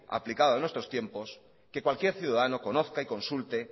aplicado a nuestros tiempos que cualquier ciudadano conozca y consulte